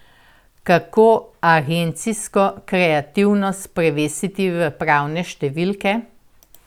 Kako agencijsko kreativnost prevesti v prave številke?